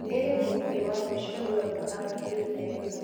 nĩrĩ mũgithi wa mũico ũrauma upperhill nairobi